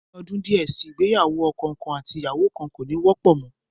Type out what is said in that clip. Ní ọdún díẹ̀ si, ìgbéyàwó ọkọ kan àti aya kan, kò ní wọ́pọ̀ mọ́